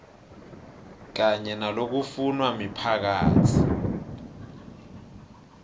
kanye nalokufunwa miphakatsi